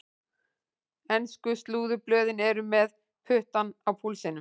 Ensku slúðurblöðin eru með puttann á púlsinum.